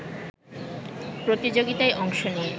প্রতিযোগিতায় অংশ নিয়ে